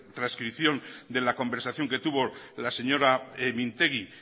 trascripción de la conversación que tuvo la señora mintegi